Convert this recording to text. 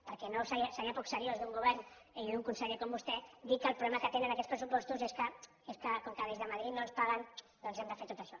perquè seria poc seriós d’un govern i d’un conseller com vostè dir que el problema que tenen aquests pressupostos és que com que des de madrid no ens paguem doncs hem de fer tot això